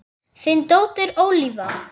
Þín dóttir Ólafía.